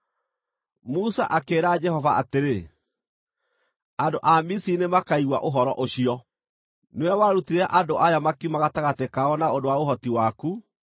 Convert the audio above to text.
Musa akĩĩra Jehova atĩrĩ, “Andũ a Misiri nĩmakaigua ũhoro ũcio! Nĩwe warutire andũ aya makiuma gatagatĩ kao na ũndũ wa ũhoti waku.